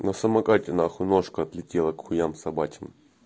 на самокате нахуй ножка отлетела к хуям собачьим